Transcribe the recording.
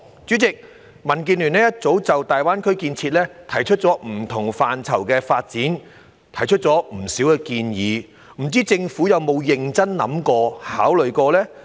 主席，民建聯早已就大灣區不同範疇的發展提出不少建議，不知政府有否認真考慮。